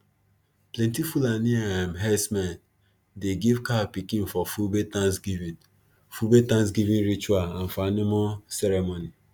plenti fulani um herdsmen dey give cow pikin for fulbe thanksgiving fulbe thanksgiving ritual and for animal ceremony